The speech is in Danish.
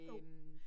Jo